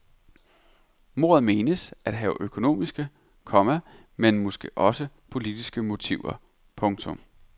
Mordet menes at have økonomiske, komma men måske også politiske motiver. punktum